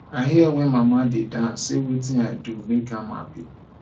i hear wen mama dey dance say wetin i do make am happy